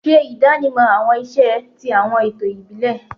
Ṣe idanimọ awọn iṣẹ ti awọn eto ẹbi ibile